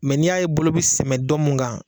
Mɛ ni y'a ye bolo bi sɛmɛ dɔ mun kan